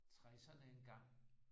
60'erne engang